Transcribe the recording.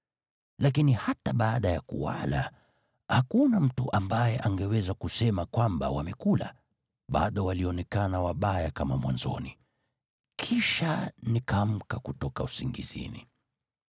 Lakini hata baada ya kuwala, hakuna mtu ambaye angeweza kusema kwamba wamekula, bado walionekana wabaya kama mwanzoni. Kisha nikaamka kutoka usingizini.